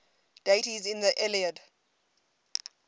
deities in the iliad